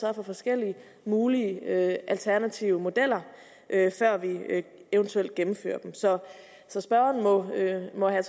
er af forskellige mulige alternative modeller før vi eventuelt gennemfører dem så så spørgeren må have